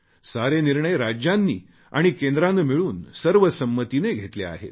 सारे निर्णय राज्यांनी आणि केंद्राने मिळून सर्वसंमतीने घेतले आहेत